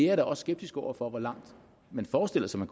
er da også skeptisk over for hvor langt man forestiller sig